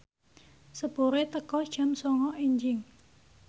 sepure teka jam sanga enjing